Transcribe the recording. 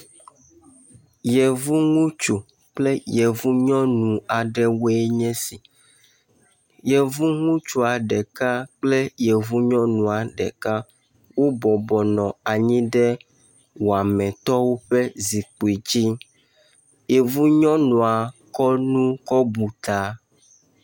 Yevu ŋutsu kple yevu nyɔnu aɖewoe nye si. Yevu ŋutsua ɖeka kple yevu nyɔnua ɖeka wobɔbɔ nɔ anyi ɖe wametɔwo ƒe zikpui dzi. Yevu nyɔnua kɔ nu kɔ bu ta.